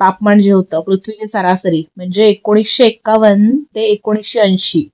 तापमान जे होत पृथ्वीच्या सरासरी म्हणजे एकोणीशे एक्कावन्न ते एकोणीशे ऐशी